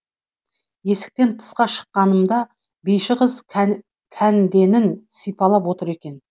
есіктен тысқа шыққанымда биші қыз кәнденін сипалап отыр екен